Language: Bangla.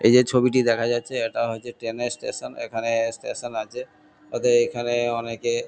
এই যে ছবিটি দেখা যাচ্ছে এটা হচ্ছে ট্রেন -এর স্টেশন এখানে স্টেশন আছে অতএব এখানে অনেকে--